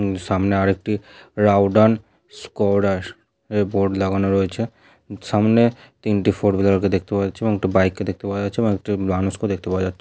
এবং সামনে আর একটি রাউডান স্কোডার এর বোর্ড লাগানো রয়েছে। সামনে তিনটে ফোর হুইলার কে দেখতে পাওয়া যাচ্ছে এবং একটি বাইক কে দেখতে পাওয়া যাচ্ছে এবং একটি মানুষকেও দেখতে পাওয়া যাচ্ছ--